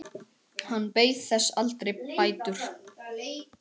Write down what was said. Hann beið þess aldrei bætur.